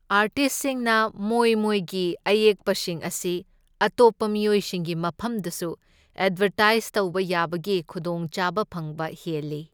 ꯑꯥꯔꯇꯤꯁꯁꯤꯡꯅ ꯃꯣꯏ ꯃꯣꯏꯒꯤ ꯑꯌꯦꯛꯄꯁꯤꯡ ꯑꯁꯤ ꯑꯇꯣꯞꯄ ꯃꯤꯑꯣꯏꯁꯤꯡꯒꯤ ꯃꯐꯝꯗꯁꯨ ꯑꯦꯠꯕꯔꯇꯥꯏꯁ ꯇꯧꯕ ꯌꯥꯕꯒꯤ ꯈꯨꯗꯣꯡ ꯆꯥꯕ ꯐꯪꯕ ꯍꯦꯜꯂꯤ꯫